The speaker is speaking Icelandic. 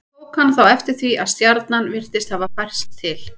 Tók hann þá eftir því að stjarnan virtist hafa færst til.